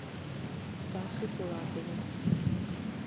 саше филатове